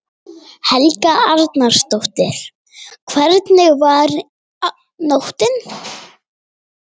Helga Arnardóttir: Hvernig var nóttin?